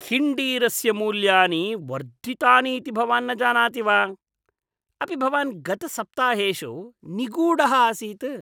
हिण्डीरस्य मूल्यानि वर्धितानि इति भवान् न जानाति वा? अपि भवान् गतसप्ताहेषु निगूढः आसीत्?